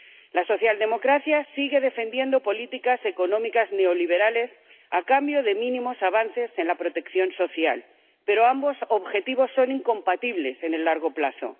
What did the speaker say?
La socialdemocracia sigue defendiendo políticas económicas neoliberales a cambio de mínimos avances en la protección social, pero ambos objetivos son incompatibles en el largo plazo.